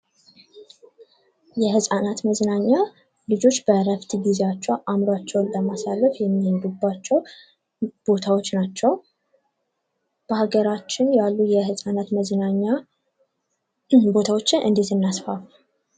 የህፃናት መዝናኛ ልጆች በእረፍት ጊዚያቸው አዕምሯቸውን ለማሳረፍ የሚሄዱባቸው ቦታዎች ናቸው። በሀገራችን ያሉ የህፃናት መዝናኛ ቦታዎችን እንዴት እናስፋፋ?